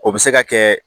O bɛ se ka kɛ